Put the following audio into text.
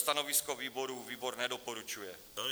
Stanovisko výboru: výbor nedoporučuje.